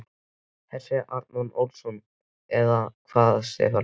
Hersir Aron Ólafsson: Eða hvað Stefán?